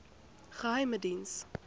geheimediens